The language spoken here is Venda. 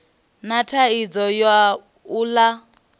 na thaidzo ya u ḽa